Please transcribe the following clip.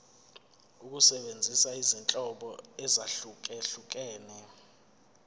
ukusebenzisa izinhlobo ezahlukehlukene